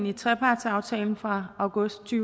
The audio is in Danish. i trepartsaftalen fra august to